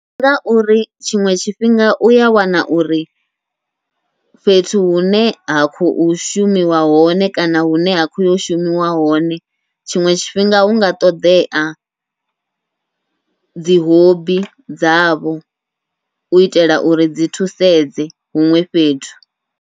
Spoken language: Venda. Ndi ngauri tshiṅwe tshifhinga uya wana uri fhethu hune ha khou shumiwa hone kana hune ha khoyo shumiwa hone, tshiṅwe tshifhinga hunga ṱoḓea dzi hobby dzavho u itela uri dzi thusedze huṅwe fhethu.